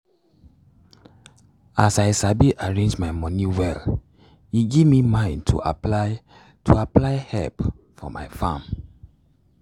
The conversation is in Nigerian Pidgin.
as i sabi arrange my moni well e give me mind to apply to apply help for my farm